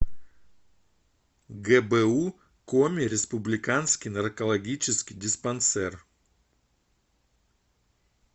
гбу коми республиканский наркологический диспансер